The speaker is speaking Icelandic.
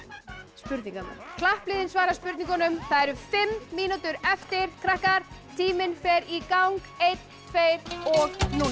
spurningarnar klappliðin svara spurningunum það eru fimm mínútur eftir krakkar tíminn fer í gang einn tveir og núna